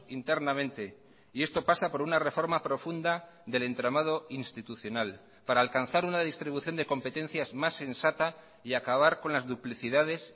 internamente y esto pasa por una reforma profunda del entramado institucional para alcanzar una distribución de competencias más sensata y acabar con las duplicidades